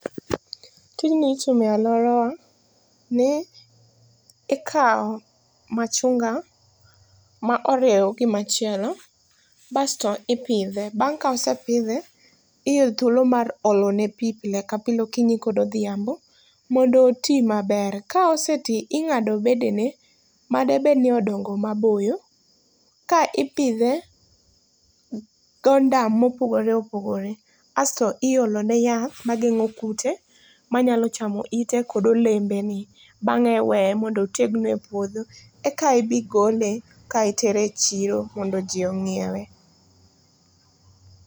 Tijni itimo e alworawa, ni, ikawo machunga ma oriew gi machielo, basto ipidhe. Bang' kaosepidhe thuolo mar olo ne pii pile ka pile, okinyi kod odhiambo, mondo oti maber. Ka osetii, ingádo bedene, madebed ni odongo maboyo, ka ipidhe gondam mopogore opogore. Asto iolo ne yath magengó kute, manyalo chamo ite kod olembene. Bangé iweye mondo otegno e puodho, eka ibigole ka itere e chiro mondo jii ongíewe.